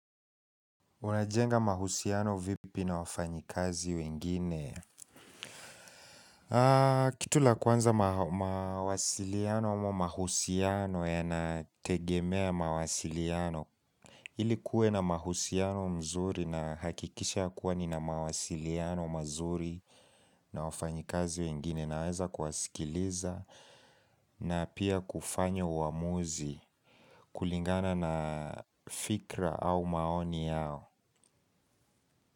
Unajenga mahusiano vipi na wafanyakazi wengine? Kitu la kwanza mawasiliano ama mahusiano yanategemea mawasiliano. Ili kuwe na mahusiano mzuri nahakikisha kuwa nina mawasiliano mazuri na wafanyi kazi wengine. Naweza kuwasikiliza na pia kufanya uamuzi kulingana na fikra au maoni yao.